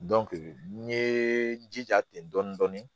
n ye n jija ten dɔɔni dɔɔni dɔɔni